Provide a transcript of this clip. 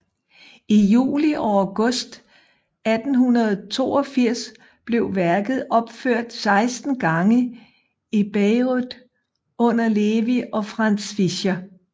I juli og august 1882 blev værket opført seksten gange i Bayreuth under Levi og Franz Fischer